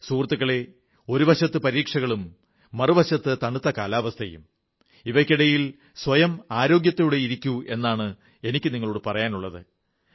സുഹൃത്തുക്കളേ ഒരു വശത്ത് പരീക്ഷകളും മറുവശത്ത് തണുത്ത കാലാവസ്ഥയും ഇവയ്ക്കിടയിൽ സ്വയം ആരോഗ്യത്തോടെയിരിക്കൂ എന്നാണ് എനിക്കു നിങ്ങളോടു പറയാനുള്ളത്